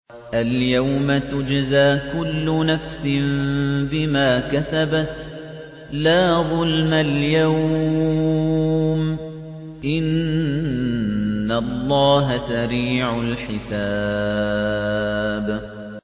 الْيَوْمَ تُجْزَىٰ كُلُّ نَفْسٍ بِمَا كَسَبَتْ ۚ لَا ظُلْمَ الْيَوْمَ ۚ إِنَّ اللَّهَ سَرِيعُ الْحِسَابِ